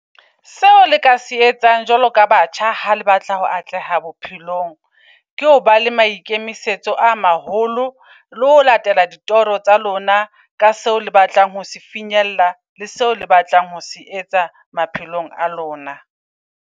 Seo le ka se etsang jwalo ka batjha ha le batla ho atleha bophelong. Ke hoba le maikemisetso a maholo le ho latela ditoro tsa lona ka seo le batlang ho se finyella. Le seo le batlang ho se etsa maphelong a lona.